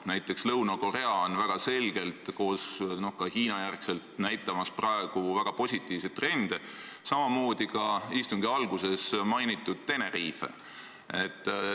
Näiteks Lõuna-Korea näitab pärast Hiinat praegu väga positiivseid trende, samamoodi ka istungi alguses mainitud Tenerife.